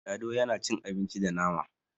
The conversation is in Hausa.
lado yana cin abinci ba nama